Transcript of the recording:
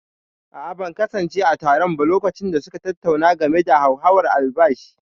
a'a, ban kasance a taron ba lokacin da suka tattauna game da hauhawar albashi